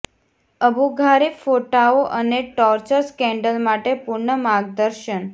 Abu Ghraib ફોટાઓ અને torture scandal માટે પૂર્ણ માર્ગદર્શન